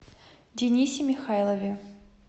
денисе михайлове